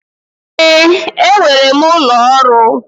Ee, enwere m ụlọ ọrụ.